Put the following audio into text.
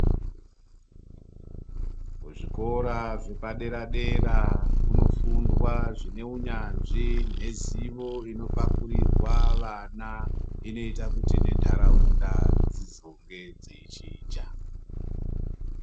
Kuzvikora zvepadera dera kunofundwa zvine unyanzvi nezivo unopakurirwa vana inoita kuti nendaraunda dzizonge dzeichinja.